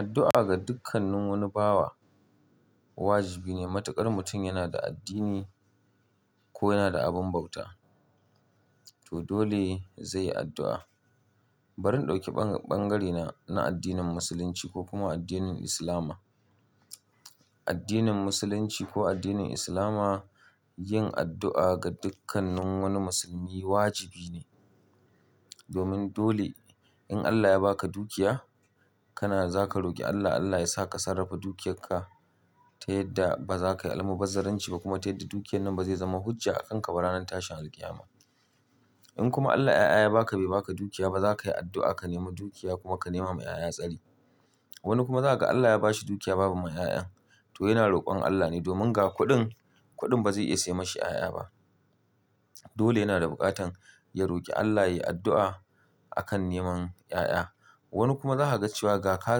Addu'a ga dukkannin wani bawa wajibi ne matukar mutum yana da addini ko yana da abun bauta to dole zai yi addu'a. Bari in ɗauki bangare na addinin musulunci ko kuma addinin Islama. Addinin musulunci ko addinin Islama yin addu'a ga dukkannin wani musulmi wajibi ne. Domin dole in Allah ya ba ka dukiya kana za ka roki Allah Allah yasa ka sarrafa dukiyarka ta yadda ba za ka yi almubazzaranci ba kuma ta yadda dukiyar nan ba zai zama hujja a kanka ba ranar tashin alkiyama. In kuma Allah 'ya'ya ya ba ka bai ba ka dukiya ba za ka yi addu'a ka nema dukiya kuma ka nema ma 'ya'ya tsari. Wani kuma za ka ga Allah ya ba shi dukiya babu ma 'ya'yan to yana rokon Allah ne domin ga kuɗin, kuɗin ba zai iya sai ma shi 'ya'ya ba. Dole yana da bukatan ya roki Allah ya yi addu'a akan neman 'ya'ya. Wani kuma za ka ga cewa ga ka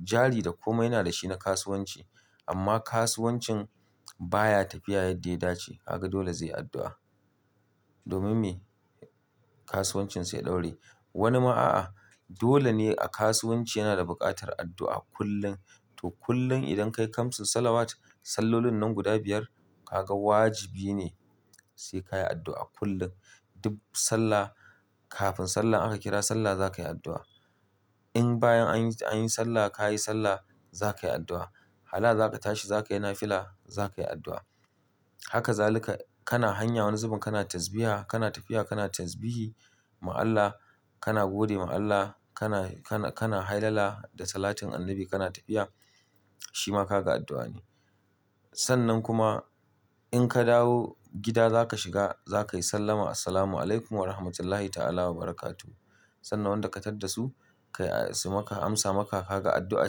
jari da komai yana da shi na kasuwanci amma kasuwancin baya tafiya yadda ya dace haka dole zai yi addu'a domin me kasuwancin sai ya ɗore. Wani ma a'a dole ne a kasuwanci yana da buƙatar addu'a kullum to kullum idan ka yi kamsis salawat sallolin nan guda biyar kaga wajibi ne sai ka yi addu'a kullum. Duk sallah kafin sallah aka kira sallah za ka yi addu'a. In bayan an yi sallah ka yi sallah za ka yi addu'a. Hala za ka tashi za ka yi nafila za ka yi addu'a. Haka zalika kana hanya wani zubun kana tasbiha kana tafiya kana tasbihi ma Allah kana gode ma Allah kana, kana, kana hailala da salatin annabi kana tafiya shima ka ga addu'a ne. Sannan kuma in ka dawo gida za ka shiga za ka yi sallama "Assalamu alaikum warahmatullahi ta'ala wa barakatuhu." Sannan wanda ka tadda su kai su maka amsa maka haka addu'a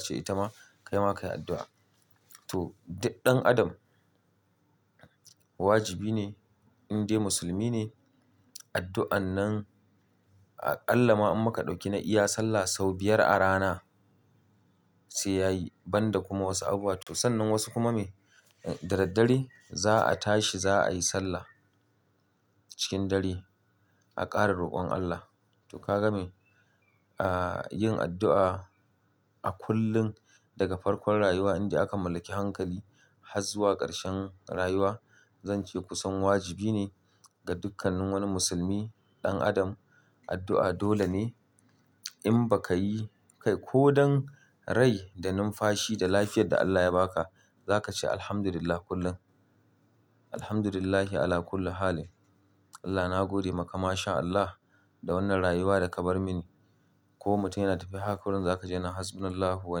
ce ita ma kai ma ka yi addu'a. To duk ɗan adam wajibi ne in dai musulmi ne addu'an nan aƙalla ma in muka ɗauki na iya sallah sau biyar a rana sai ya yi banda kuma wasu abubuwa to sannan wasu kuma me da daddare za a tashi za a yi sallah cikin dare a ƙara rokon Allah. To ka game a yin addu'a a kullum daga farkon rayuwa inda aka mallaki hankali har zuwa ƙarshen rayuwa zan ce kusan wajibi ne ga dukkanin wani musulmi ɗan adam addu'a dole ne in ba ka yi kai ko don rai da numfashi da lafiyar da Allah ya ba ka za ka ce "Alhamdulillah kullum. Alhamdulillahi ala kullu halin." Allah na gode maka masha Allah da wannan rayuwa da ka bar mini. Ko mutum yana tafe haka kurum za ka ji yana "Hasbunallahu wa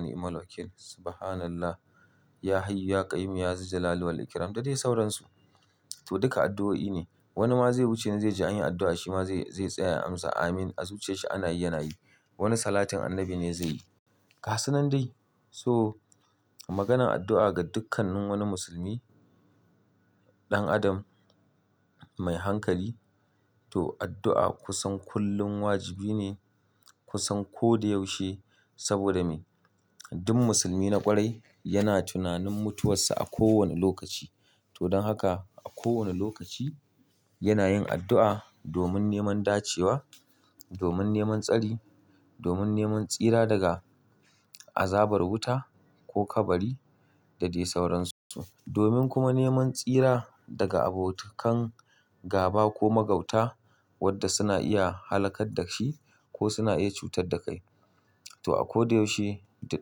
ni'mal wakil. Subhanallah ya hayyu ya ƙaiyum ya zuljalalu wal ikram." Da dai sauransu. To duka addu'o'i ne. Wani ma zai wuce zai ji an yi addu'a shi ma zai, zai tsaya ya amsa "Amin" a zuciyarsa ana yi yana yi. Wani salatin annabi ne zai yi. Ga su nan dai so maganan addu'a ga dukkanin wani musulmi ɗan adam mai hankali to addu'a kusan kullum wajibi ne kusan ko da yaushe saboda me duk musulmi na ƙwarai yana tunanin mutuwarsa a kowane lokaci to don haka a kowane lokaci yana yin addu'a domin neman dacewa, domin neman tsari, domin neman tsira daga azabar wuta ko kabari da dai sauransu. Domin kuma neman tsira daga abotakan gaba ko magauta wadda suna iya halakar da shi ko suna iya cutar da kai. To a ko da yaushe duk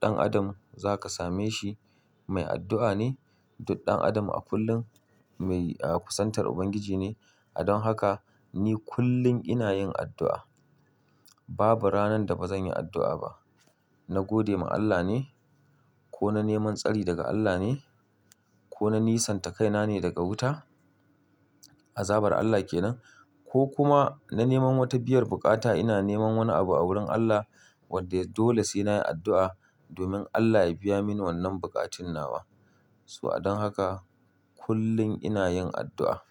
ɗan adam za ka same shi mai addu'a ne duk ɗan adam a kullum mai a kusantar Ubangiji ne. A don haka ni kullum ina yin addu'a. Babu ranar da ba zan yi addu'a ba. Na gode ma Allah ne ko na neman tsari daga Allah ne ko na nisanta kaina ne daga wuta azabar Allah kenan ko kuma na neman wata biyar bukata ina neman wani abu a wurin Allah wadda dole sai na yi addu'a domin Allah ya biya mini wannan buƙatun nawa. To a don haka kullum ina yin addu'a.